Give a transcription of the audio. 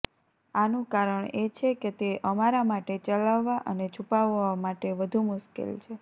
આનું કારણ એ છે કે તે અમારા માટે ચલાવવા અને છુપાવવા માટે વધુ મુશ્કેલ છે